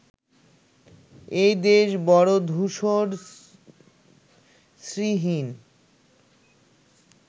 এই দেশ বড় ধূসর শ্রীহীন